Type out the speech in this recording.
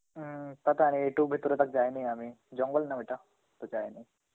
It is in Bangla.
উম তাতে আর এটু ভেতরে টাক যায়নি আমি.জঙ্গল না ওইটা তো যায়নি.